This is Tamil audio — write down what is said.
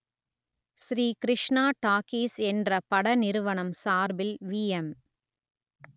ஸ்ரீ கிருஷ்ணா டாக்கீஸ் என்ற பட நிறுவனம் சார்பில் விஎம்